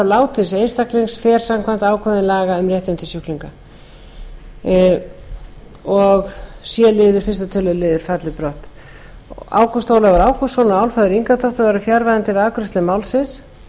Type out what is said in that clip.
látins einstaklings fer samkvæmt ákvæðum laga um réttindi sjúklinga sjötta við tuttugustu og sjöttu grein c liður fyrsta tölulið falli brott ágúst ólafur ágústsson og álfheiður ingadóttir voru fjarverandi við afgreiðslu málsins